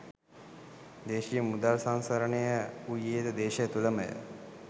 දේශීය මුදල් සංසරණය වූයේ ද දේශය තුළම ය.